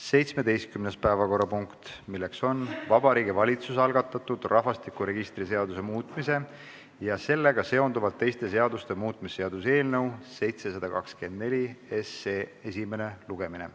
17. päevakorrapunkt, milleks on Vabariigi Valitsuse algatatud rahvastikuregistri seaduse muutmise ja sellega seonduvalt teiste seaduste muutmise seaduse eelnõu 724 esimene lugemine.